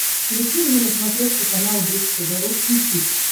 включи мне на смотрешке канал бридж тв русский хит